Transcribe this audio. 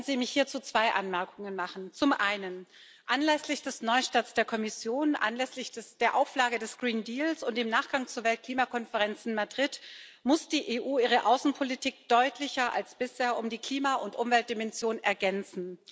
Lassen Sie mich hierzu zwei Anmerkungen machen Zum einen Anlässlich des Neustarts der Kommission, anlässlich der Auflage des Grünen Deals und im Nachgang zur Weltklimakonferenz in Madrid muss die EU ihre Außenpolitik deutlicher als bisher um die Klima und Umweltdimension ergänzen.